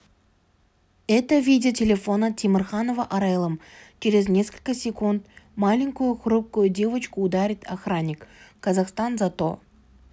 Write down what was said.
это видео телефона темирханова арайлым через несколько секунд маленькую хрупкую девочку ударит охранник казахстан за то